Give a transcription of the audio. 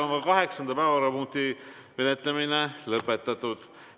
Kaheksanda päevakorrapunkti menetlemine on lõpetatud.